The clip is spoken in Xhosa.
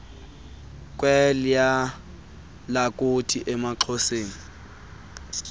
kweliya lakuthi emaxhoseni